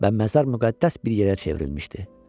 Və məzar müqəddəs bir yerə çevrilmişdi.